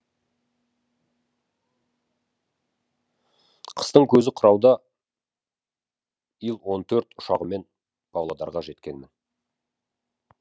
қыстың көзі қырауда ил он төрт ұшағымен павлодарға жеткенмін